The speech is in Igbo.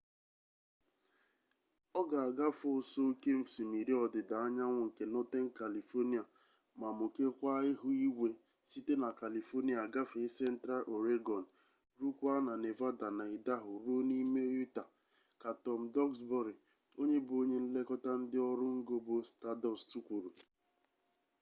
ọ ga agafe ụsọ oke osimiri ọdịda anyanwụ nke northern kalifonia ma mukekwaa ihu igwe site na kalifonia gafee central ọregọn rukwaa na nevada na idaho ruo n'ime utah ka tom duxbury onye bụ onye nlekọta ndị ọrụ ngo bụ staadọst kwuru